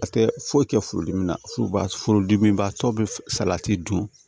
A tɛ foyi kɛ furudimi na furuba furu dimi b'a tɔ bɛ salati dun